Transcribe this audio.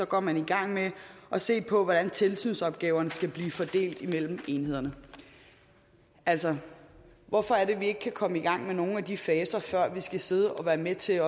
går man i gang med at se på hvordan tilsynsopgaverne skal fordeles mellem enhederne altså hvorfor er det at vi ikke kan komme i gang med nogle af de faser før vi skal sidde og være med til